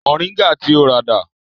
Moringa ti o rà dà?